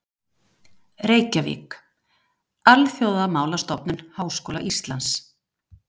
Reykjavík: Alþjóðamálastofnun Háskóla Íslands.